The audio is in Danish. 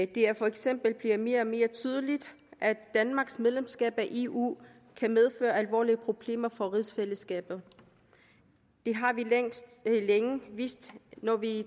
det er for eksempel blevet mere og mere tydeligt at danmarks medlemskab af eu kan medføre alvorlige problemer for rigsfællesskabet det har vi længe vidst når vi